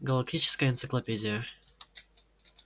галактическая энциклопедия